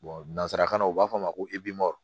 nanzarakan na u b'a fɔ ma ko